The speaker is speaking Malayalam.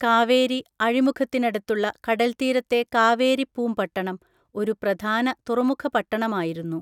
കാവേരി അഴിമുഖത്തിനടുത്തുള്ള കടല്‍ത്തീരത്തെ കാവേരിപ്പൂംപട്ടണം ഒരു പ്രധാന തുറമുഖപട്ടണമായിരുന്നു.